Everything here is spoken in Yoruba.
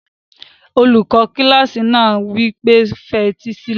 Olùkọ́ kílásì náà wí pé, fetí sílẹ̀!